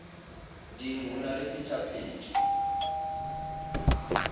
ding ho na le phetapheto